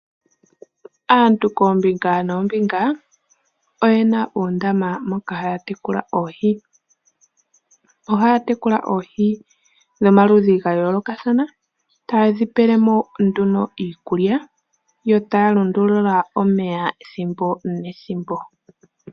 Aantu koombinga noombinga oyena uundama moka haya tekula oohi. Ohaya tekula oohi nomaludhi gayoolokathana ta ye dhipele mo nduno iikulya, yo taya lundulula omeya ethimbo nethimbo.